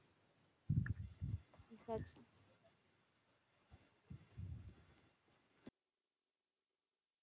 আচ্ছা।